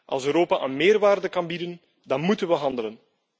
Als Europa een meerwaarde kan bieden, dan moeten we handelen.